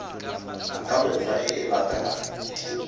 ka mekgwa e e latelang